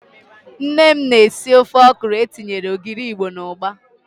Nne m na-esi ofe ọkwụrụ etinyere ogiri Igbo na ụgba.